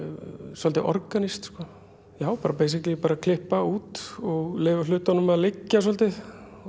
svolítið organískt beisiklí bara klippa út og leyfa hlutunum að liggja svolítið